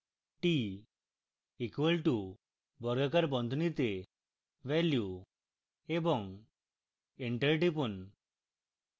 t equal to বর্গাকার বন্ধনীতে value এবং enter টিপুন